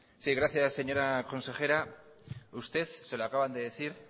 sí gracias señora consejera usted se lo acaban de decir